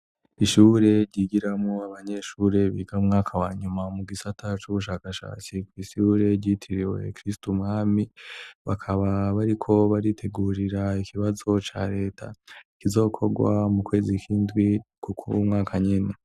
Ishure ryigiramwo abanyeshure biga mwaka wa nyuma mu gisata c'ubushakashatsi kw'ishure ryitiriwe "Kristu mwami". Bakaba bariko baritegurira ikibazo ca reta kizokorwa mu kwezi kw'indwi kw'uyu mwaka nyene.